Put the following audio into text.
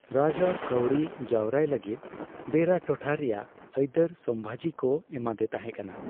ᱨᱟᱡᱟᱲ ᱠᱟᱹᱣᱰᱤ ᱡᱟᱣᱨᱟᱭ ᱞᱟᱹᱜᱤᱫ ᱵᱮᱨᱟ ᱴᱚᱴᱷᱟ ᱨᱮᱱᱟᱜ ᱟᱹᱭᱫᱟᱹᱨ ᱥᱚᱢᱵᱷᱟᱡᱤ ᱠᱚ ᱮᱢᱟᱫᱮ ᱛᱟᱸᱦᱮᱠᱟᱱᱟ ᱾